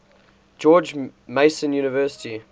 george mason university